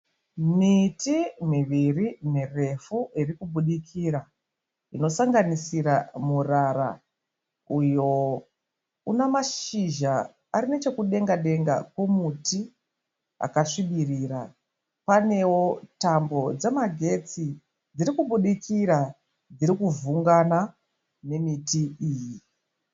Miti miviri mirefu irikubudikira inosanganisira murara uyo unamashizha arinechekudenga-denga komuti akasvibirira panewo tambo dzemagetsi dzirikubudikira dzirikuvhungana nemiti iyi.